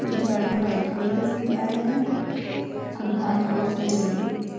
कुछ झाड़ में वाइट कलर के फूल आए है और घास बहुत सारी लगी है।